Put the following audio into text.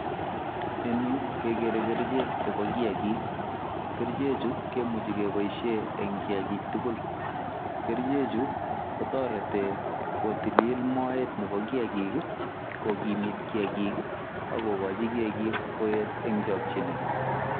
En Yu kegere kercheek chebo kiagik, kercheek chuu kemuchei kebaisheen en kiagik tugul kercheek chuu kotaretii kotililit moet nebo kiagik ii kokimiit kiagik ii ako gochii kiagik koyeet eng chakyineet.